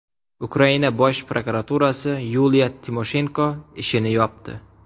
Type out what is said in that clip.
Ukraina bosh prokuraturasi Yuliya Timoshenko ishini yopdi.